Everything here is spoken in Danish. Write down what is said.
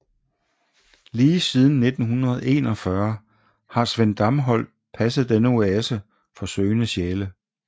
Lige siden 1941 har Sven Damsholt passet denne oase for søgende sjæle